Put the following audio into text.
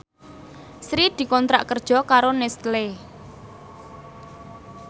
Sri dikontrak kerja karo Nestle